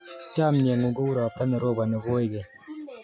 Chomye ng'ung' kou ropta ne roponi koigeny.